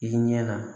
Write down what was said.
I ɲɛ na